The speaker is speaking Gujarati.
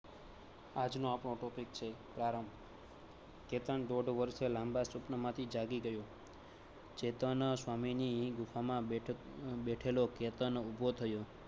આજ નો આપણો topic છે પ્રારંભ. કેતન દોઢ વર્ષ લાંબા સુખ માંથી જાગી ગયો. ખેતન નો સ્વામી ની ગુફા માં બેઠા બેઠેલો કેતન ઉભો થયો